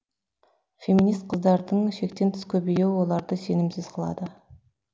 феминист қыздардың шектен тыс көбейюі оларды сенімсіз қылады